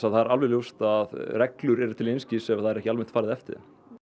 það er alveg ljóst að reglur eru til einskis ef það er ekki farið eftir þeim